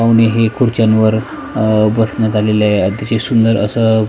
पाहुणे हे खुर्च्यांवर अ बसण्यात आलेले आहेत अतिशय सुंदर असं--